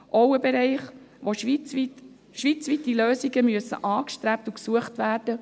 Auch dies ist ein Bereich, in dem schweizweite Lösungen gesucht und angestrebt werden.